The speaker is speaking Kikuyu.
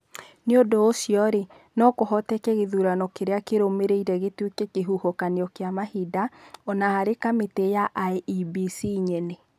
Nĩ ũndũ ũcio no kũhoteke gĩthurano kĩrĩa kĩrũmĩrĩire gĩtuĩke kĩhuhũkanio kĩa mahinda, o na harĩ kamĩtĩ ya IEBC nyene.